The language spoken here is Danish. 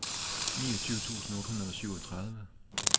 niogtyve tusind otte hundrede og syvogtredive